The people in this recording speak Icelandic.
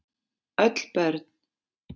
Öll börn